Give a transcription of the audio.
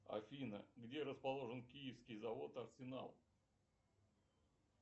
афина где расположен киевский завод арсенал